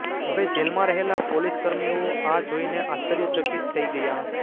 હવે જેલમાં રહેલા પોલીસકર્મીઓ આ જોઈને આશ્ચર્યચકિત થઈ ગયા